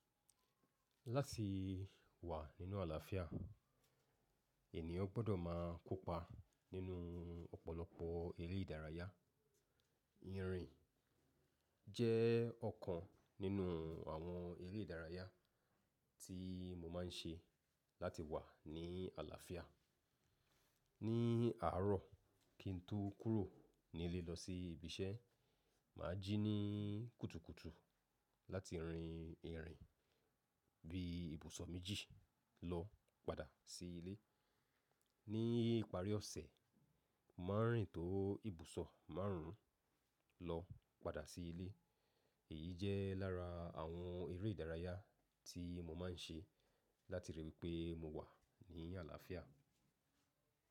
Láti wà nínú àlàáfíà ènìyàn gbọ́dọ̀ máa kópa nínú ọ̀pọ̀lọpọ̀ eré ìdárayá. Írin jẹ́ ọ̀kan nínú àwọn eré ìdárayá tí mo máa ń ṣe láti wà ní àlàáfíà. Ni àárọ̀ kí n tó kúrò nílé lọ sí ibi iṣẹ́, màá jí ní kùtùkùtù láti rìn ìrìn bí ibùsọ̀ méjì lọ padà sí ilé. Ni ìparí ọ̀sẹ̀, màá rìn tó ibùsọ̀ márùn ún lọ padà sí ilé. Èyí jẹ́ lára àwọn eré ìdárayá tí mo máa ń ṣe láti ríi wí pé mo wà ní àlàáfíà.